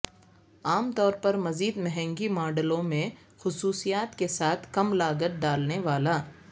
عام طور پر مزید مہنگی ماڈلوں میں خصوصیات کے ساتھ کم لاگت ڈالنے والا